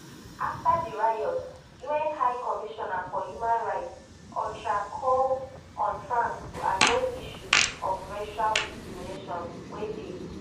afta di riots un high commissioner for human rights ohchr call on france to address issues of racial discrimination wey dey